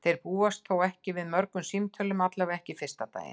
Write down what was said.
Þeir búast þó ekki við mörgum símtölum, allavega ekki fyrsta daginn.